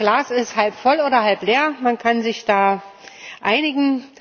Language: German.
Das Glas ist halb voll oder halb leer man kann sich da einigen.